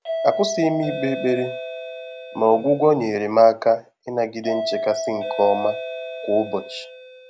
Àkwụ́sị́ghị́ m íkpé ékpèré, mà ọ́gwụ́gwọ́ nyèrè m áká ị́nàgídé nchékàsị́ nké ọ́mà kwá ụ́bọ̀chị̀.